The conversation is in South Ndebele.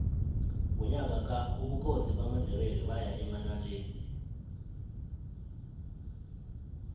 ngonyaka ka ubukhosi bamandebele baya emanaleli